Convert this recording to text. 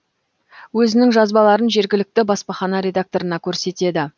өзінің жазбаларын жергілікті баспахана редакторына көрсетеді